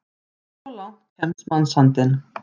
Svo langt kemst mannsandinn!